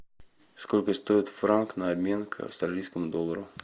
сколько стоит франк на обмен к австралийскому доллару